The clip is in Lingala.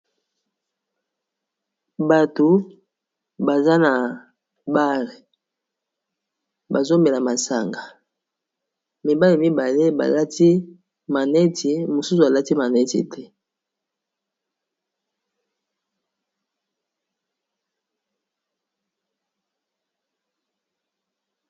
Batu baza na bar bazomela masanga mibale mibale balati maneti mosusu alati maneti te.